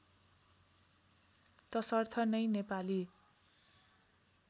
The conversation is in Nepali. तसर्थ नै नेपाली